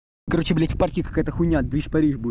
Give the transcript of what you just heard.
короче блять в парке какая-то хуйня движ париж будет